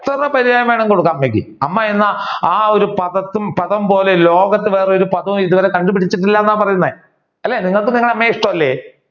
എത്ര പര്യായം വേണമെങ്കിലും കൊടുക്കാൻ കഴിയും അമ്മ എന്ന ആ ഒരു പദം പോലെ ലോകത്തിൽ വേറെ ഒരു പദവും കണ്ടുപിടിച്ചിട്ടില്ല എന്നാണ് പറയുന്നേ അല്ലെ നിങ്ങൾക്ക് നിങ്ങളുടെ അമ്മയെ ഇഷ്ടമല്ലേ